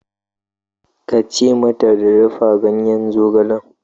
Ka ce mata ta dafa ganyen zogale!